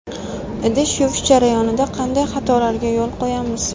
Idish yuvish jarayonida qanday xatolarga yo‘l qo‘yamiz?.